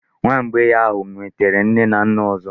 Nwa mgbei ahụ nwetere nne na nna ọzọ.